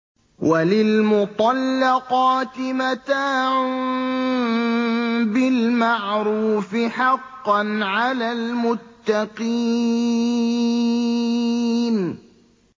وَلِلْمُطَلَّقَاتِ مَتَاعٌ بِالْمَعْرُوفِ ۖ حَقًّا عَلَى الْمُتَّقِينَ